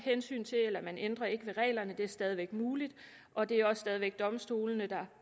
hensyn til eller man ændrer ikke ved reglerne det er stadig væk muligt og det er også stadig væk domstolene der